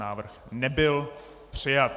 Návrh nebyl přijat.